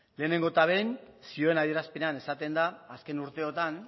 lehenengo eta behin zioen adierazpenean esaten da azken urteotan